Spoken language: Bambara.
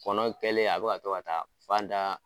Kɔnɔ kɛlen a be ka to ka taa fan da